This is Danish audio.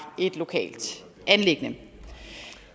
et lokalt anliggende